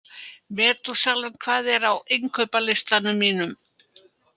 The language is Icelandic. Metúsalem, hvað er á innkaupalistanum mínum?